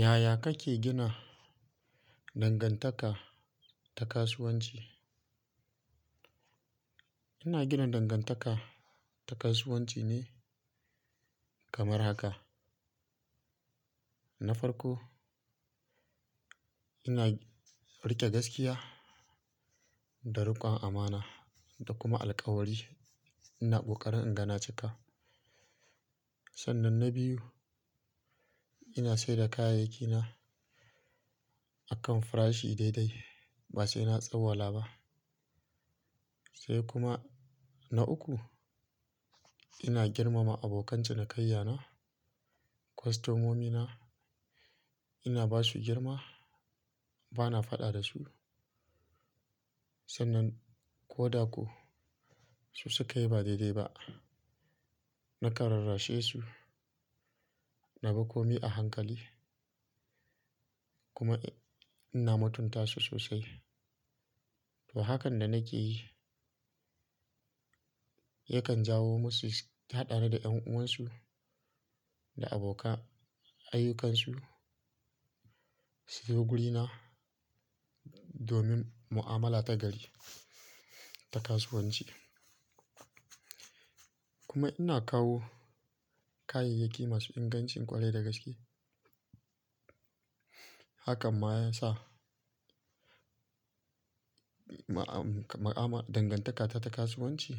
Yaya kake gina dangantaka ta kasuwanci? Ina gina dangantaka ta kasuwanci ne kamar haka. Na farko, ina rike gaskiya da rikon amana da kuma alkawari ina kokarin inga na cika. Sannan na biyu, ina sadai da kayayyaki na akan farashi daidai ba sai na tsawala ba. Sai kuma na uku, ina girmama abokan cinikayya na, kostomomi na, ina ba su girma, ba na faɗa da su. Sannan ko da ko su suka yi ba daidai ba, nakan rarrashe su, na bi komai a hankali kuma ina mutunta su sosai. To hakan da nake yi yakan jawo musu su haɗa ni da ƴan uwansu da abokan ayyukansu su zo wurina domin mu'amala ta gari ta kasuwanci. Kuma ina kawo kayayyaki masu ingancin ƙwarai da gaske. Hakan ma ya sa ma'a- dangantakata ta kasuwanci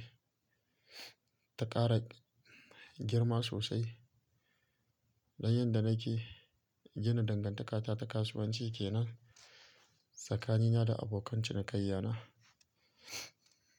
ta ƙara girma sosai. Dan yin da nake gina dangantakata ta kasuwanci kenan tsakanina na da abokan cinikayya na.